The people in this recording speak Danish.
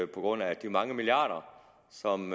på grund af de mange milliarder som